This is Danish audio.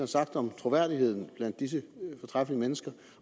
sagt om troværdigheden blandt disse fortræffelige mennesker